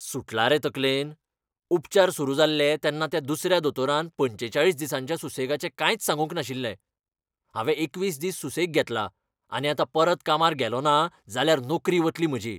सुटला रे तकलेन? उपचार सुरू जाल्ले तेन्ना त्या दुसऱ्या दोतोरान पंचेचाळीस दिसांच्या सुसेगाचें कांयच सांगूंक नाशिल्लें. हांवें एकवीस दीस सुसेग घेतला, आनी आतां परत कामार गेलोंना जाल्यार नोकरी वतली म्हजी.